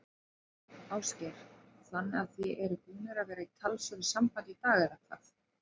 Ásgeir: Þannig að þið eruð búnir að vera í talsverðu sambandi í dag, eða hvað?